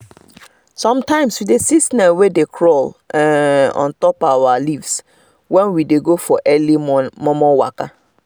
sometimes we dey see snail wey dey crawl um ontop our um leaves when we dey go for our early um momo waka